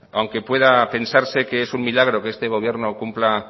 aunque pueda pensarse que es un milagro que este gobierno cumpla